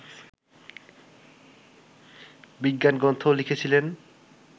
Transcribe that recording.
বিজ্ঞানগ্রন্থও লিখেছিলেন